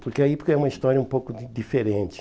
Porque aí porque é uma história um pouco di diferente.